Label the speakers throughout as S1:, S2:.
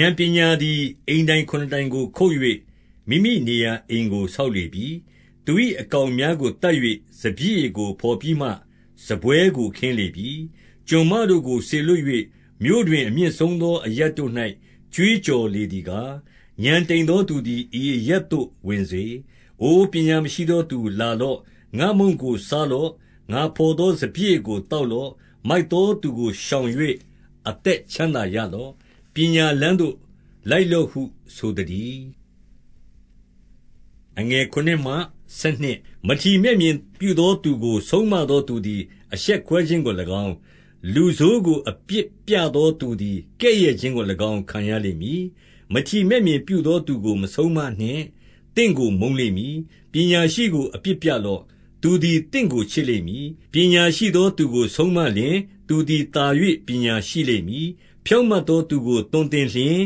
S1: ဥာဏ်ပညာသည်အိမ်တိုင်ခုနစ်တိုင်ကိုခုတ်၍၊ မိမိနေရာအိမ်ကို ဆောက်လေပြီ။ 2 သူ၏အကောင်များကိုသတ်၍၊ စပျစ်ရည်ကို ဘော်ပြီးမှ စားပွဲကို ခင်းလေပြီ။ 3 ကျွန်မတို့ကိုစေလွှတ်၍၊ မြို့တွင် အမြင့်ဆုံးသော အရပ်တို့၌ ကြွေးကြော်လေသည်ကား၊ 4 ဥာဏ်တိမ်သောသူသည် ဤအရပ်သို့ဝင်စေ။ အိုပညာမရှိသောသူ၊ 5 လာလော့။ ငါ့မုန့်ကိုစားလော့။ ငါဘော်သော စပျစ်ရည်ကို သောက်လော့။ 6 မိုက်သောသူကို ရှောင်၍ အသက်ချမ်း သာရ လော့။ ပညာလမ်းသို့လိုက်လော့ဟုဆိုသတည်း။ 7 မထီမဲ့မြင်ပြုသောသူကို ဆုံးမသောသူသည် အရှက်ကွဲခြင်းကို၎င်း၊ လူဆိုးကိုအပြစ်ပြသော သူသည် ကဲ့ရဲ့ခြင်းကို၎င်း ခံရလိမ့်မည်။ 8 မထီမဲ့မြင်ပြုသော သူကိုမဆုံးမနှင့်။ သင့်ကို မုန်းလိမ့်မည်။ ပညာရှိကိုအပြစ်ပြလော့။ သူသည် သင့်ကို ချစ်လိမ့်မည်။ 9 ပညာရှိသော သူကိုဆုံးမလျှင်၊ သူသည် သာ၍ ပညာရှိလိမ့်မည်။ ဖြောင့်မတ်သောသူကို သွန်သင်လျှင်၊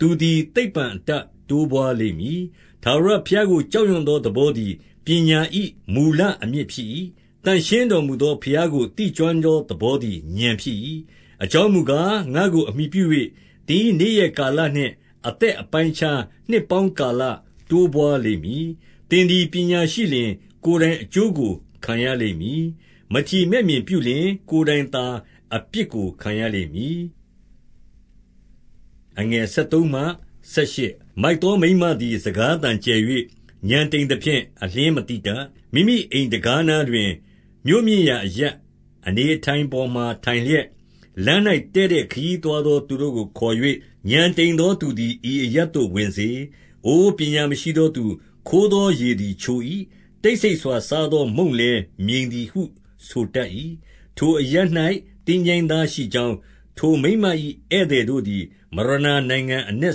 S1: သူသည် သိပ္ပံအတတ်တိုးပွါးလိမ့်မည်။ 10 ထာဝရဘုရားကို ကြောက်ရွံ့သော သဘော သည် ပညာ၏မူလအမြစ် ဖြစ်၏။ သန့်ရှင်းတော်မူသော ဘုရားကိုသိကျွမ်းသော သဘောသည် ဥာဏ်ဖြစ်၏။ 11 အကြောင်းမူကား၊ ငါ့ကိုအမှီပြု၍၊ သင်၏ နေ့ရက်ကာလနှင့် အသတ်အပိုင်းအခြား နှစ်ပေါင်း ကာလ တိုးပွါးလိမ့်မည်။ 12 သင်သည်ပညာရှိလျှင်၊ ကိုယ်တိုင်အကျိုးကို ခံရ လိမ့်မည်။ မထီမဲ့ပြုလျှင် ကိုယ်တိုင်သာအပြစ်ကို ခံရလိမ့် မည်။ 13 မိုက်သောမိန်းမသည် စကားသံကျယ်၍ ဥာဏ် တိမ်သဖြင့် အလျှင်းမသိတတ်။ 14 မိမိအိမ်တံခါးနားတွင် မြို့မြင့်ရာအရပ် အနေအထိုင်ပေါ်မှာ ထိုင်လျက်၊ 15 လမ်း၌တည့်တည့် ခရီးသွားသော သူတို့ကို ခေါ်၍၊ 16 ဥာဏ်တိမ်သော သူသည် ဤအရပ်သို့ဝင်စေ။ အိုပညာမရှိသောသူ၊ 17 ခိုးသောရေသည် ချို၏။ တိတ်ဆိတ်စွာစား သောမုန့်လည်း မြိန်သည်ဟု ဆိုတတ်၏။ 18 ထိုအရပ်၌ သင်္ချိုင်းသားရှိကြောင်း၊ ထိုမိန်းမ၏ ဧည့်သည်တို့သည် မရဏနိုင်ငံအနက်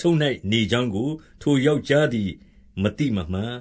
S1: ဆုံး၌နေကြောင်း ကို ထိုယောက်ျားသည်မသိမမှတ်